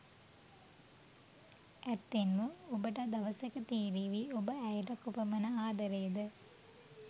ඇත්තෙන්ම ඔබට දවසක තෙරේවි ඔබ ඇයට කොපමන ආදරේද.